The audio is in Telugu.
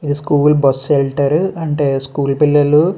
ఇది స్కూల్ బస్సు సెంటర్ అంటే స్కూల్ పిల్లలు --